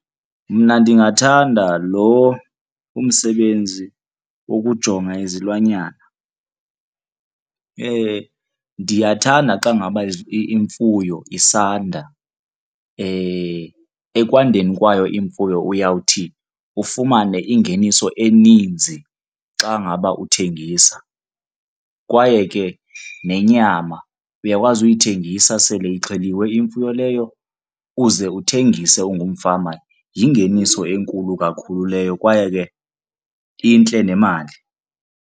Mna ndingathanda lo umsebenzi wokujonga izilwanyana. Ndiyathanda xa ngaba imfuyo isanda. Ekwandeni kwayo imfuyo uyawuthi ufumane ingeniso eninzi xa ngaba uthengisa. Kwaye ke nenyama uyakwazi uyithengisa sele ixheliwe imfuyo leyo uze uthengise ungumfama. Yingeniso enkulu kakhulu leyo kwaye ke intle nemali.